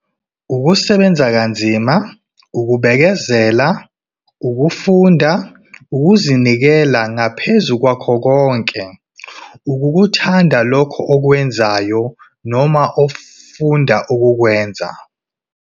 UKUSEBENZA KANZIMA, UKUBEKEZELA, UKUFUNDA, UKUZINIKELA NGAPHEZU KWAKHO KONKE, UKUKUTHANDA LOKHO OKWENZAYO NOMA OFUNDA UKUKWENZA.